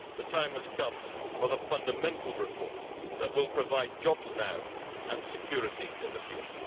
The time has come for the fundamental reform that will provide jobs now and security in the future.